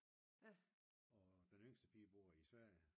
Og den yngste pige bor i Sverige